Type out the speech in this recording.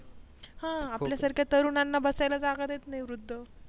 हा आपल्या सारख्या तरुणांना बसायला जागा देत नाही वृद्ध